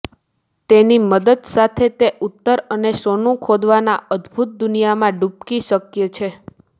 તેની મદદ સાથે તે ઉત્તર અને સોનું ખોદવાના અદ્ભુત દુનિયામાં ડૂબકી શક્ય છે